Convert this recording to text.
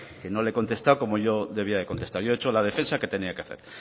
que no le he contestado como yo debía de contestar yo he hecho la defensa que tenía que hacer